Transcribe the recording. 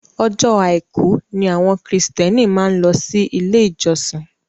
Ọjọ́ àìkú ni àwọn kìrìtíẹ́nì máa ń lọ sí ilé-ìjọsìn